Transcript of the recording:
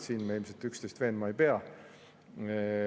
Siin me ilmselt üksteist veenma ei pea.